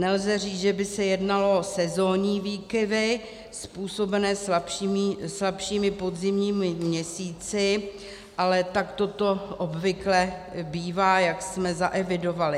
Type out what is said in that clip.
Nelze říct, že by se jednalo o sezónní výkyvy způsobené slabšími podzimními měsíci, ale takto to obvykle bývá, jak jsme zaevidovali.